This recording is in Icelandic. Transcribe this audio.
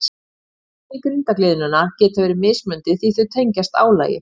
Einkenni grindargliðnunar geta verið mismunandi því að þau tengjast álagi.